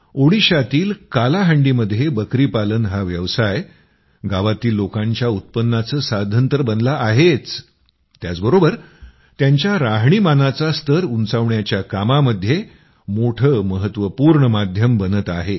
ओडिशातील कालाहांडीमध्ये बकरी पालन हा व्यवसाय गावातील लोकांच्या उत्पन्नाचं साधन तर बनला आहेच त्याचबरोबर त्यांच्या राहणीमानाचा स्तर उंचावण्याच्या कामामध्ये मोठं महत्वपूर्ण माध्यम बनत आहे